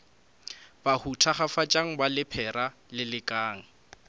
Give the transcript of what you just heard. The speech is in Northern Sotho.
bahu thakgafatšang ba lephera lelekang